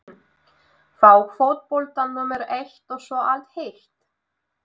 Fá fótboltann númer eitt og svo allt hitt?